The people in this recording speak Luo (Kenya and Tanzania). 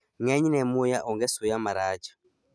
Ng'enyne muya onge suya marach.